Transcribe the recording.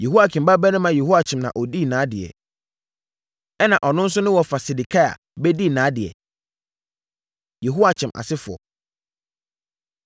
Yehoiakim babarima Yehoiakyin na ɔdii nʼadeɛ, ɛnna ɔno nso ne wɔfa Sedekia bɛdii nʼadeɛ. Yehoiakyin Asefoɔ